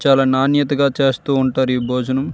చాలా నాణ్యతగా చేస్తుంటారు ఈ భోజనం.